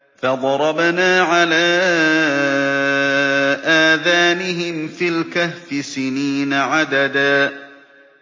فَضَرَبْنَا عَلَىٰ آذَانِهِمْ فِي الْكَهْفِ سِنِينَ عَدَدًا